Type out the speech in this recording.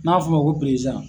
N'a f'u ma ko